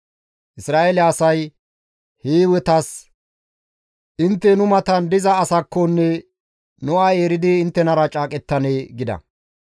Isra7eele asay Hiiwetas, «Intte nu matan diza asaakko nu ay eridi inttenara caaqettanee?» gida.